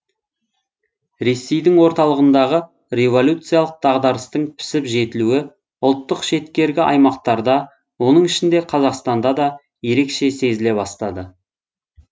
ресейдің орталығындағы революциялық дағдарыстың пісіп жетілуі ұлттық шеткергі аймақтарда оның ішінде қазақстанда да ерекше сезіле бастады